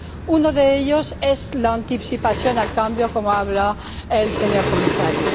Uno de ellos es la anticipación al cambio, como ha dicho el señor Comisario.